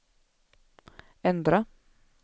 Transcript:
ändra